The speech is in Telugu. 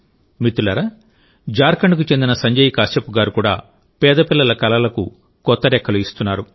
మిత్రులారాజార్ఖండ్కు చెందిన సంజయ్ కశ్యప్ గారు కూడా పేద పిల్లల కలలకు కొత్త రెక్కలు ఇస్తున్నారు